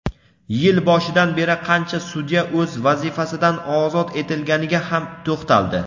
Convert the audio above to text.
yil boshidan beri qancha sudya o‘z vazifasidan ozod etilganiga ham to‘xtaldi.